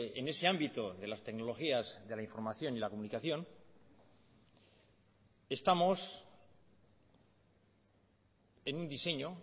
en ese ámbito de las tecnologías de la información y la comunicación estamos en un diseño